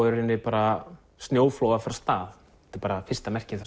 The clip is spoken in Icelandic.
í rauninni bara snjóflóð að fara af stað þetta er bara fyrsta merkið